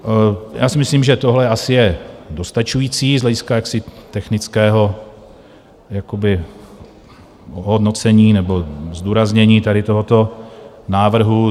Já si myslím, že tohle asi je dostačující z hlediska jaksi technického jakoby hodnocení nebo zdůraznění tady tohoto návrhu.